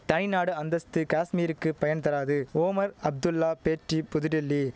தய்நாடு அந்தஸ்து காஷ்மீருக்கு பயன்தராது ஓமர் அப்துல்லா பேட்டி புதுடெல்லி